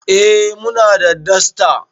Eh muna da dasta